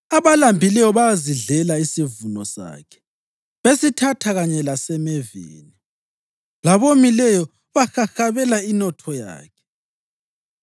Abalambileyo bayazidlela isivuno sakhe, besithatha kanye lasemeveni, labomileyo bahahabela inotho yakhe.